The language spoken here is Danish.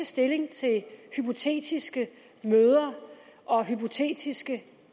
stilling til hypotetiske møder og hypotetiske